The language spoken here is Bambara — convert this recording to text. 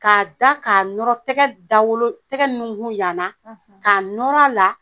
K'a da k'a nɔrɔ tɛgɛ dawolo tɛgɛ nunkun yan na k'a nɔr'a la